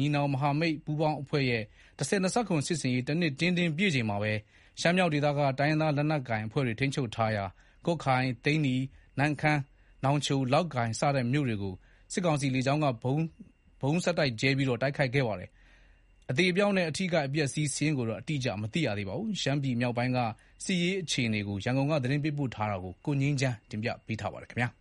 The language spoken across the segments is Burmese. ညီနောင်မဟာမိတ်ပူးပေါင်းအဖွဲ့ရဲ့ ၁၀၂၇ စစ်ဆင်ရေး ၁နှစ်တင်းတင်းပြည့်ချိန်မှာပဲ ရှမ်းမြောက်ဒေသက တိုင်းရင်းသား လက်နက်ကိုင်အဖွဲ့တွေ ထိန်းချုပ်ထားရာ ကွတ်ခိုင်၊ သိန္နီ၊ နမ့်ခမ်း၊နောင်ချို၊ လောက်ကိုင် စတဲ့မြို့တွေကို စစ်ကောင်စီ လေကြောင်းက ဗုံးဆက်တိုက်ကြဲပြီးတိုက်ခိုက်ခဲ့ပါတယ်။ အသေအပျောက်နဲ့ အထိအခိုက်အပျက်အဆီး စာရင်းကိုတော့ အတိအကျ မသိရသေးပါဘူး။ ရှမ်းမြောက်ဘက်က စစ်ရေးအခြေအနေ ရန်ကုန်က သတင်းပေးပို့ထားပါတယ်။ ၂၀၂၃ ခုနှစ် အောက်တိုဘာလ ၂၇ရက်က စတင်ခဲ့တဲ့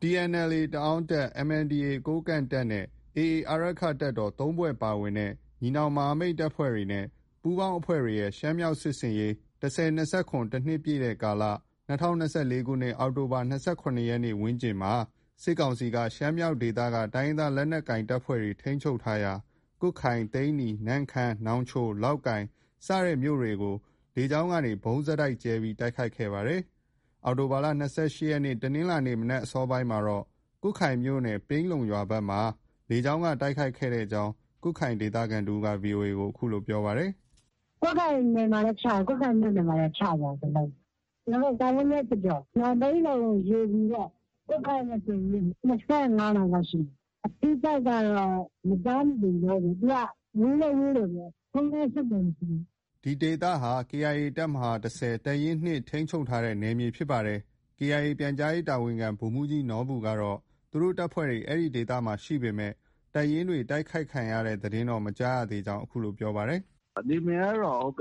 TNLA တအန်းတပ်၊ MNDAA ကိုးကန့်တပ် နဲ့ AA အာရက္ခတပ်တော် ၃ဖွဲ့ ပါတဲ့ ညီနောင်မဟာမိတ်တပ်ဖွဲ့တွေနဲ့ပူးပေါင်းအဖွဲ့တွေရဲ့ ရှမ်းမြောက်စစ်ဆင်ရေး ၁၀၂၇ တနှစ်ပြည့်ကာလ- ၂၀၂၄ခုနှစ် အောက်တိုဘာလ ၂၇ရက်နေ့ ဝန်းကျင်မှာ စစ်ကောင်စီက ရှမ်းမြောက်ဒေသက တိုင်းရင်းသား လက်နက်ကိုင်အဖွဲ့တွေ ထိန်းချုပ်ထားရာ ကွတ်ခိုင်၊ သိန္နီ၊ နမ့်ခမ်း၊နောင်ချို၊ လောက်ကိုင် စတဲ့မြို့တွေကို စစ်ကောင်စီတပ်တွေက လေကြောင်းက ဗုံးဆက်တိုက်ကြဲချပြီး တိုက်ခိုက်ခဲ့ပါတယ်။ ဒီကနေ့ အောက်တိုဘာလ ၂၈ရက်နေ့ တနင်္လာနေ့မနက်အစောပိုင်းမှာတော့ ကွတ်ခိုင်မြို့နယ် ပြိန်းလုံရွာဘက်မှာ လေကြောင်းက တိုက်ခိုက်ခဲ့ကြောင်း ကွတ်ခိုင်ဒေသခံတဦးက VOA ကိုပြောပါတယ်။ “ ကွတ်ခိုင်မြို့နယ်မှာလည်း ချသွားတယ်၊ တလုံး။ တာမိုးနဲ့ကျော်ကျော် မန်ပြိန်းလုံ ရေပူပေါ့။ ကွတ်ခိုင်နဲ့ဆိုရင် ၂၅မိုင်လောက်ရှိမယ်။ အထိအခိုက်တော့ မကြားမိသေးဘူး။ သူက ဝေးလည်း ဝေးတယ်ဗျ။ ဖုန်းလည်း အဆက်အသွယ် မရှိဘူး။” ဒီဒေသဟာ KIA တပ်မဟာ ၁၀ ။ တပ်ရင်း ၂ ထိန်းချုပ်ထားတဲ့နယ်မြေဖြစ်ပါတယ်။ KIA ပြန်ကြားရေးတာဝန်ခံဗိုလ်မှုးကြီးနော်ဘူကတော့ သူတို့တပ်ဖွဲ့တွေ အဲဒီဒေသမှာ ရှိပေမဲ့ တပ်ရင်းတွေကို တိုက်ခိုက်ခံရတဲ့သတင်းတော့ မရသေးကြောင်း ပြောပါတယ်။ “ နယ်မြေကတော့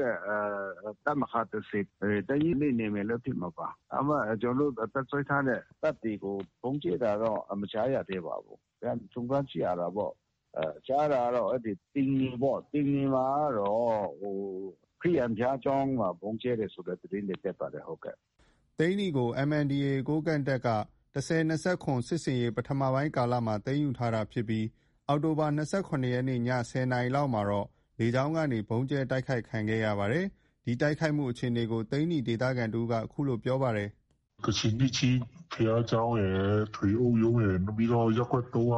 တပ်မဟာ ၁၀ ၊ တပ်ရင်း ၂ နယ်မြေလည်းဖြစ်မှာပါ။ ဒါပေမဲ့ ကျနော်တို့ တပ်စွဲထားတဲ့ တပ်တွေကို ဗုံးကြဲတာတော့ မကြားရသေးပါဘူး။ ပြန်စုံစမ်းကြည့်ရတာပေါ့။ ကြားတာတော့ သိန္နီ ၊ သိန္မီမှာကတော့ ခရစ်ယာန်ဘုရားကျောင်းကို ဗုံးကြဲတယ်ဆိုတဲ့သတင်းတွေ တက်ပါတယ်။” သိန္နီမြို့ကို MNDAA ကိုးကန့်တပ်က ၁၀၂၇စစ်ဆင်ရေး ပထမပိုင်းကာလမှာ သိမ်းယူထားတာဖြစ်ပြီး အောက်တိုဘာလ ၂၇ရက်နေ့ ည ၁၀နာရီခန့်မှာ လေကြောင်းက ဗုံးကြဲတိုက်ခိုက်ခဲ့တာပါ။ ဒီတိုက်ခိုက်မှုအခြေအနေကို သိန္နီဒေသခံတဦးက အခုလို ပြောပါတယ်။ “ ကချင်နှစ်ချင်းဘုရားကျောင်းရယ်။ ထွေအုပ်ရုံးရယ်၊ နောက်ပြီးတော့ ရပ်ကွက် ၃က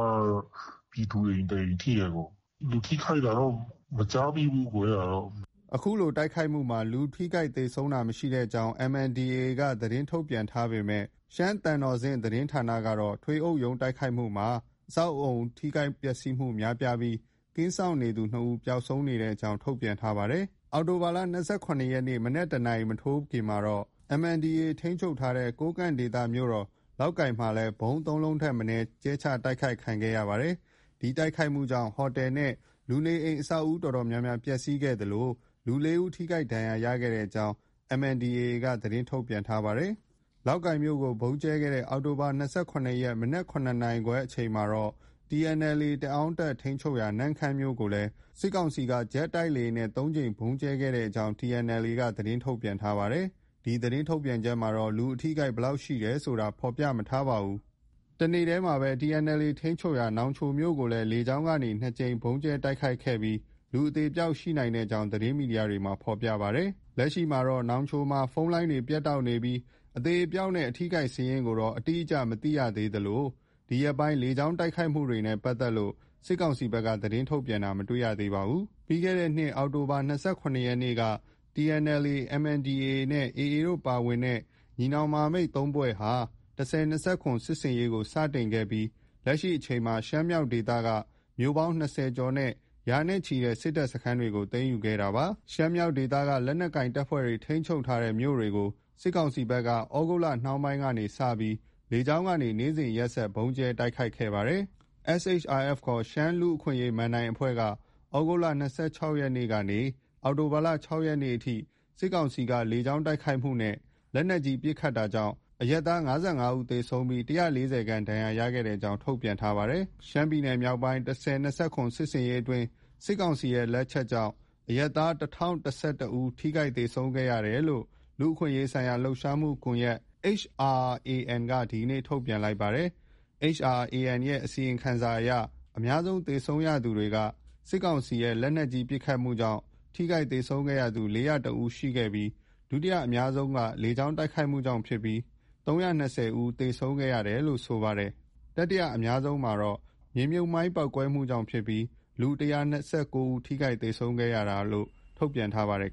ပြည်သူအိမ် တအိမ်ထိတယ်။ လူထိခိုက်တာတော့ မကြားမိဘူး။ အဲဒါတော့။” ဒီတိုက်ခိုက်မှုမှာ လူထိခိုက်သေဆုံးတာမရှိကြောင်း MNDAA က သတင်းထုတ်ပြန်ထားပေမဲ့ ရှမ်းသံတော်ဆင့်သတင်းဌာနကတော့ ထွေအုပ်ရုံးတိုက်ခိုက်မှုမှာ အဆောက်အဦး ထိခိုက်ပျက်ဆီးမှု များပြားပြီး ကင်းစောင့်နေသူ ၂ဦးပျောက်ဆုံးနေကြောင်းထုတ်ပြန်ထားပါတယ်။ အောက်တိုဘာလ ၂၆ရက်နေ့ သန်းခေါင်ကျော် အောက်တိုဘာလ ၂၇ရက်နေ့ မနက် ၁နာရီမထိုးမီမှာ MNDAA ထိန်းချုပ်ထားတဲ့ ကိုးကန့်ဒေသ မြို့တော် လောက်ကိုင်ကို ဗုံး ၃လုံးထက်မနည်း ကြဲချတိုက်ခိုက်ခဲ့ပါတယ်။ ဒီတိုက်ခိုက်မှုကြောင့် ဟိုတယ်နဲ့ လူနေအိမ်အဆောက်အဦး အတော်များများ ပျက်ဆီးခဲ့သလို လူ ၄ဦး ထိခိုက်ဒဏ်ရာရခဲ့ကြောင်း MNDAA က သတင်းထုတ်ပြန်ထားပါတယ်။ လောက်ကိုင်မြို့ကို ဗုံးကြဲခဲ့တဲ့ အောက်တိုဘာလ၂၇ရက်နေ့ မနက် ၇နာရီခွဲအချိန်ခန့်မှာတော့ TNLA တအန်းတပ် ထိန်းချုပ်ရာ နမ့်ခမ်းမြို့ကို စစ်ကောင်စီက ဂျက်တိုက်လေယာဉ်နဲ့ ၃ကြိမ်ဗုံးကြဲတိုက်ခိုက်ခဲ့ကြောင်း TNLA က သတင်းထုတ်ပြန်ထားပါတယ်။ ဒီသတင်းထုတ်ပြန်ချက်မှာတော့ လူအထိအခိုက်ဘယ်လောက် ရှိတယ်ဆိုတာ ဖော်ပြမထားပါဘူး။ အောက်တိုဘာလ ၂၇ရက်နေ့မနက်ပိုင်း ၇နာရီခွဲခန့်မှာပဲ TNLA ထိန်းချုပ်ရာ နောင်ချိုမြို့ကိုလည်း လေကြောင်းက ၂ကြိမ်ဗုံးကြဲ တိုက်ခိုက်ခဲ့ရာမှာ လူအသေအပျောက်ရှိနိုင်ကြောင်း သတင်းမီဒီယာတွေမှာ ဖော်ပြကြပါတယ်။ လက်ရှိမှာ နောင်ချိုမြို့မှာ ဖုန်းလိုင်းတွေ ပြတ်တောက်နေတာကြောင့်အသေအပျောက်နဲ့ အထိအခိုက်အပျက်အဆီးစာရင်းကိုတော့ အတိအကျ မသိရသေးသလို ဒီရက်ပိုင်း လေကြောင်းတိုက်ခိုက်မှုတွေနဲ့ပတ်သက်လို့ စစ်ကောင်စီဘက်က သတင်းထုတ်ပြန်တာတော့ မတွေ့ရပါဘူး။ ပြီးခဲ့တဲ့နှစ် အောက်တိုဘာလ ၂၇ရက်နေ့က TNLA ၊ MNDAA နဲ့ AA တို့ ပါဝင်တဲ့ ညီနောင်မဟာမိတ် ၃ဖွဲ့ဟာ ၁၀၂၇ စစ်ဆင်ရေးကို စတင်ခဲ့ပြီး လက်ရှိအချိန်မှာ ရှမ်းမြောက်ဒေသက မြို့ပေါင်း ၂၀ကျော်နဲ့ ရာနဲ့ချီတဲ့ စစ်တပ်စခန်းတွေကို သိမ်းယူခဲ့တာလည်း ဖြစ်ပါတယ်။ ရှမ်းမြောက်ဒေသက တိုင်းရင်းသားလက်နက်ကိုင်အဖွဲ့တွေ ထိန်းချုပ်ထားတဲ့မြို့တွေကို စစ်ကောင်စီဘက်က သြဂုတ်လနှောင်းပိုင်းက စတင်ပြီး လေကြောင်းကနေ နေ့စဉ်ရက်ဆက်ဆိုသလို တိုက်ခိုက်ခဲ့ပါတယ်။ SHRF ခေါ် ရှမ်းလူ့အခွင့်အရေး မဏ္ဍိုင်အဖွဲ့က သြဂုတ်လ ၂၆ရက်နေ့ကနေ အောက်တိုဘာလ ၆ရက်နေ့အထိ စစ်ကောင်စီက လေကြောင်းတိုက်ခိုက်မှုနဲ့ လက်နက်ကြီး ပစ်ခတ်တာကြောင့် အရပ်သား ၅၅ ဦးသေဆုံးပြီး ၁၄၀ခန့် ဒဏ်ရာရခဲ့ကြောင်း ထုတ်ပြန်ထားပါတယ်။ ရှမ်းပြည်နယ်မြောက်ပိုင်း ၁၀၂၇ စစ်ဆင်ရေးအတွင်း စစ်ကောင်စီရဲ့ လက်ချက်ကြောင့် အရပ်သား ဦး ထိခိုက်သေဆုံးခဲ့ရတယ်လို့ လူ့အခွင့်အရေးဆိုင်ရာလှုပ်ရှားမှုကွန်ရက် က ဒီကနေ့ ထုတ်ပြန်လိုက်ပါတယ်။ HRAN ရဲ့ အစီရင်ခံစာအရ အများဆုံး သေဆုံးရသူက စစ်ကောင်စီရဲ့ လက်နက်ကြီးပစ်ခတ်မှုကြောင့် ထိခိုက်သေဆုံးသူ ဦးရှိခဲ့ပြီး ဒုတိယအများဆုံးမှာ လေကြောင်းတိုက်ခိုက်မှုကြောင့်ဖြစ်ပြီး ဦး ထိခိုက်သေဆုံးခဲ့တယ်လို့ ဆိုပါတယ်။ တတိယအများဆုံးကတော့ မြေမြှုပ်မိုင်းပေါက်ကွဲမှုကြောင့်ဖြစ်ပြီး ဦး ထိခိုက်သေဆုံးခဲ့တယ်လို့ ထုတ်ပြန်ထားပါတယ်